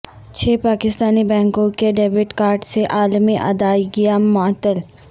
چھ پاکستانی بینکوں کے ڈیبٹ کارڈز سے عالمی ادائیگیاں معطل